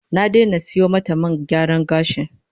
Ya daina sayo mata man gyaran gashi